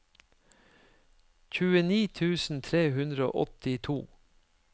tjueni tusen tre hundre og åttito